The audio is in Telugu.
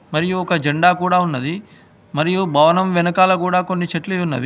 మరియు ఒక జెండా కూడా ఉన్నది మరియు భవనం వెనకాల కూడా కొన్ని చెట్లు ఉన్నవి.